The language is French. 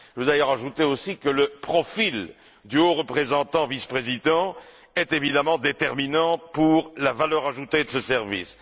Je voudrais d'ailleurs ajouter aussi que le profil du haut représentant vice président est évidemment déterminant pour la valeur ajoutée de ce service.